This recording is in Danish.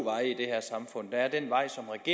for at er den vej